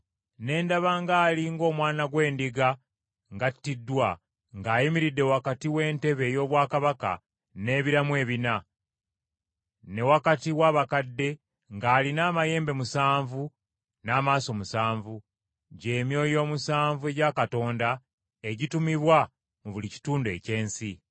Ne ndaba nga ali ng’Omwana gw’Endiga ng’attiddwa ng’ayimiridde wakati w’entebe ey’obwakabaka n’ebiramu ebina, ne wakati w’abakadde, ng’alina amayembe musanvu n’amaaso musanvu, gy’emyoyo omusanvu egya Katonda, egitumibwa mu buli kitundu eky’ensi.